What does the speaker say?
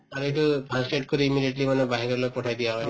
এইটো first aid কৰি immediately মানে বাহিৰলৈ পঠাই দিয়া হয়